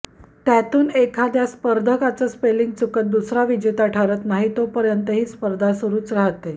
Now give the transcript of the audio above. त्यातून एखाद्या स्पर्धकाचं स्पेलिंग चुकत दुसरा विजेता ठरत नाही तोपर्यंत ही स्पर्धा सुरूच राहते